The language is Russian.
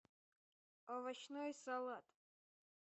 овощной салат